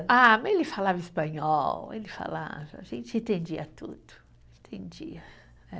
Ah, mas ele falava espanhol, ele falava, a gente entendia tudo, entendia, é.